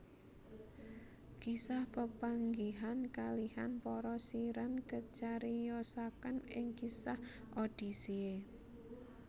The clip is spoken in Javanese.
Kisah pepanggihan kalihan para Siren kacariyosaken ing kisah Odisseia